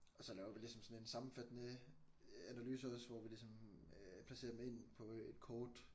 Og så laver vi ligesom sådan en sammenfattende analyse også hvor vi ligesom øh placerer dem ind på et kort